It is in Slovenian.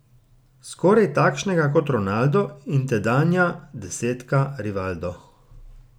Skoraj takšnega kot Ronaldo in tedanja desetka Rivaldo.